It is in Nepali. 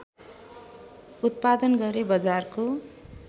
उत्पादन गरे बजारको